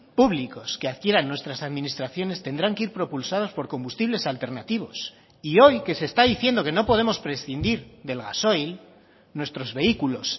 públicos que adquieran nuestras administraciones tendrán que ir propulsados por combustibles alternativos y hoy que se está diciendo que no podemos prescindir del gasoil nuestros vehículos